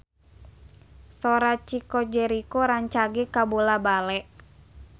Sora Chico Jericho rancage kabula-bale